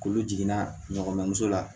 Kulu jiginna ɲɔgɔnso la